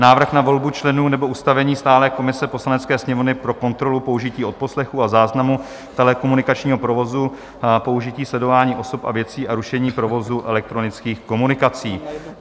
Návrh na volbu členů nebo ustavení stálé komise Poslanecké sněmovny pro kontrolu použití odposlechu a záznamu telekomunikačního provozu, použití sledování osob a věcí a rušení provozu elektronických komunikací